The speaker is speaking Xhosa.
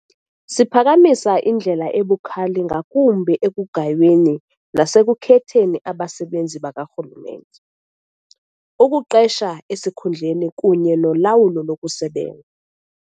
Siphakamisa indlela ebukhali ngakumbi ekugayweni nasekukhetheni abasebenzi bakarhulumente, ukuqesha esikhundleni kunye nolawulo lokusebenza.